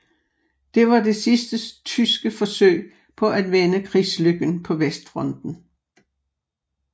Det var det sidste tyske forsøg på at vende krigslykken på Vestfronten